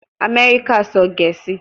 Amẹrika sọ Gẹẹsi